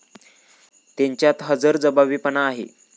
त्यांच्यात हजरजबाबीपणा आहे.